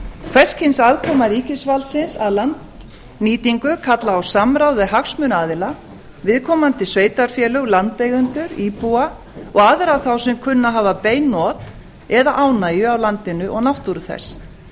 hvers kyns aðkoma ríkisvaldsins að landnýtingu kallar á samráð við hagsmunaaðila viðkomandi sveitarfélög landeigendur íbúa og aðra þá sem kunna að hafa bein not eða ánægju af landinu og náttúru þess